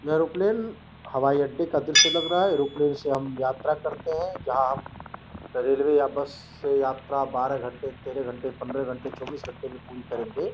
यह एरोप्लेन हवाई अड्डे का दृश्य लग रहा है। एरोप्लेन से हम यात्रा करते हैं। जहां हम रेलवे या बस से यात्रा बारह घंटे तेरह घंटे पंद्रह घंटे चौबीस घंटे में पूरी करेंगे।